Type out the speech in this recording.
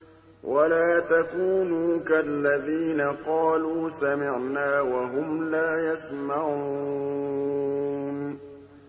وَلَا تَكُونُوا كَالَّذِينَ قَالُوا سَمِعْنَا وَهُمْ لَا يَسْمَعُونَ